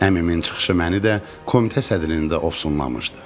Əmimin çıxışı məni də komitə sədrini də ofsunlamışdı.